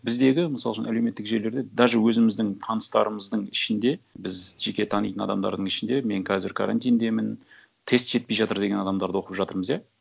біздегі мысал үшін әлеуметтік желілерде даже өзіміздің таныстарымыздың ішінде біз жеке танитын адамдардың ішінде мен қазір карантиндемін тест жетпей жатыр деген адамдарды оқып жатырмыз иә